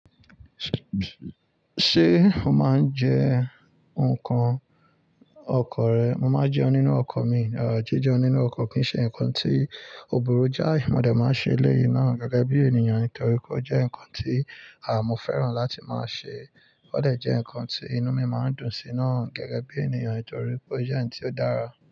Ṣé o máa ń jẹ nǹkan ọkọ rẹ? Mo máa ń jẹun nínú ọkọ̀ mi. Er, jíjẹun nínú ọkọ̀ kì í ṣe nǹkan tí ò bụru jái, mo de máa ń ṣe eléyìí náà gẹ́gẹ́ bí ènìyàn torí pé ó jẹ́ nǹkan tí, àá, mo fẹ́ràn láti máa ṣe. Ó de jẹ́ nǹkan tí inú mi máa ń dùn sí náà gẹ́gẹ́ bí ènìyàn itorí pé ó jẹ́ ǹkan tí ó dára.